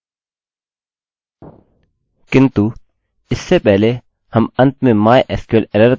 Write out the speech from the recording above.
मैं इसे अभी छोड़ रहा हूँ किन्तु यदि आप चाहें तो इसे जोड़ने में संकोच न करें